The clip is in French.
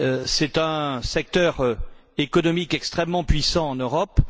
c'est un secteur économique extrêmement puissant en Europe.